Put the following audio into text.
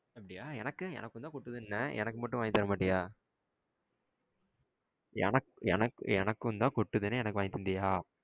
அப்படியா. எனக்கு எனக்குதான் கொட்டுதுனேன். எனக்கு மட்டும் வாங்கிட்டு வரமாட்டியா? எனக் எனக் எனக்குனுதா கொட்டுதுன்னு வாங்கிட்டு வந்தியா?